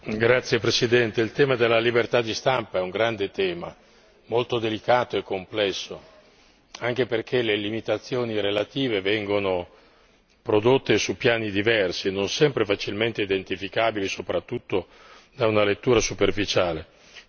Signor Presidente, onorevoli colleghi, il tema della libertà di stampa è un grande tema, molto delicato e complesso, anche perché le relative limitazioni vengono prodotte su piani diversi e non sempre facilmente identificabili, soprattutto da una lettura superficiale.